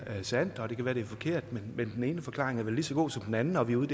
er sandt og det kan være at det er forkert men den ene forklaring er vel lige så god som den anden når vi er ude